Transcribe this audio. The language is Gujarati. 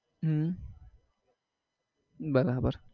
હમ બરાબર